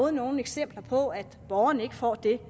er nogen eksempler på at borgerne ikke får det